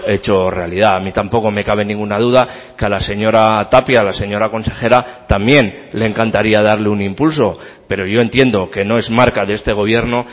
hecho realidad a mí tampoco me cabe ninguna duda que a la señora tapia a la señora consejera también le encantaría darle un impulso pero yo entiendo que no es marca de este gobierno